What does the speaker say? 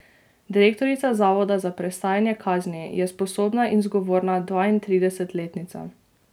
Direktorica Zavoda za prestajanje kazni je sposobna in zgovorna dvaintridesetletnica.